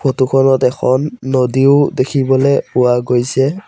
Photo খনত এখন নদীও দেখিবলৈ পোৱা গৈছে।